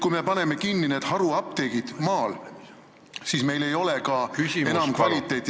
Kui me paneme nüüd maal kinni haruapteegid, siis ei ole ka enam kvaliteeti.